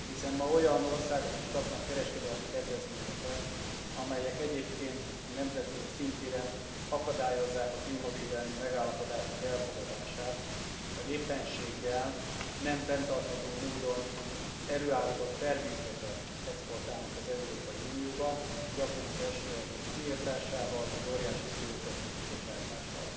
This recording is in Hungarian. Hiszen ma olyan országok is kapnak kereskedelmi kedvezményeket, amelyek egyébként a nemzetközi színtéren akadályozzák a klímavédelmi megállapodások elfogadását, vagy éppenséggel nem fenntartható módon előállított termékeket exportálnak az Európai Unióba, gyakran az esőerdők kiirtásával, vagy óriási CO 2 kibocsátással.